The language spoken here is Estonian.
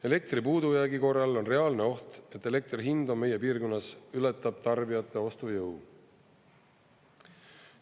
Elektri puudujäägi korral on reaalne oht, et elektri hind meie piirkonnas ületab tarbijate ostujõu.